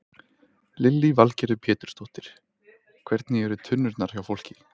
Lillý Valgerður Pétursdóttir: Hvernig eru tunnurnar hjá fólki?